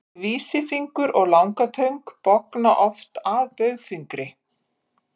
Vísifingur og langatöng bogna oft að baugfingri.